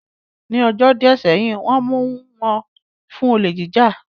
Ní ọjọ́ díẹ̀ sẹ́yìn, Wọ́n mu wọn fún olè jíjà